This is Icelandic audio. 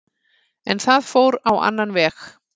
En það fór á annan veg